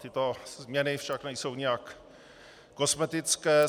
Tyto změny však nejsou nijak kosmetické.